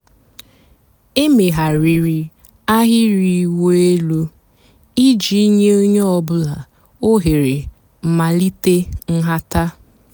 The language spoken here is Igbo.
èméghàrị́rị́ àhị́rị́ ị̀wụ́ èlú ìjì nyé ónyé ọ̀ bụ́là òhèré m̀màlíté ǹhàtá.